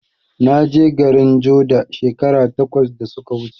Naje garin joda shekaru takwas da suka wuce